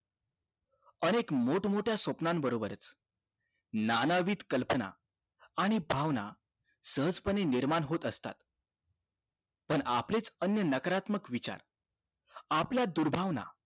अनेक मोठं मोठ्या स्वप्न बरोबर नानावीत कल्पना आणि भावना सहज पणे निर्माण होत असतात पण आपलेच अन्य नकारात्मक विचार आपल्या दुर्भावानं